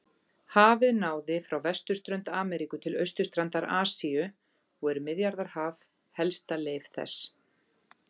Hafið náði frá vesturströnd Ameríku til austurstrandar Asíu og er Miðjarðarhaf helsta leif þess.